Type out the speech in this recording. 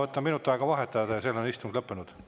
Ma võtan minut aega vaheaega ja siis on istung lõppenud.